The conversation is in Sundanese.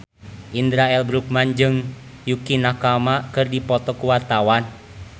Indra L. Bruggman jeung Yukie Nakama keur dipoto ku wartawan